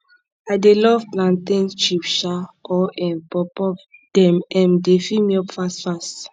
i dey love plantain chips um or um puffpuff dem um dey fill me up fast fast